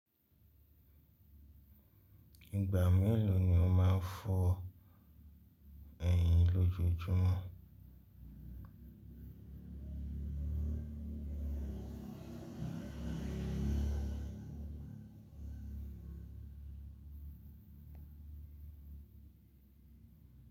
Ìgbà mélòó ni o máa ń fọ ẹyín lójojúmọ́?